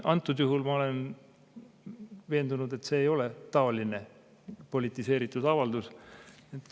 Antud juhul ma olen veendunud, et see ei ole taoline politiseeritud avaldus.